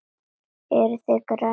Eruði með græna kortið?